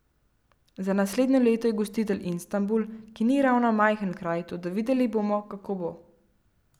Za naslednje leto je gostitelj Istanbul, ki ni ravno majhen kraj, toda videli bomo, kako bo.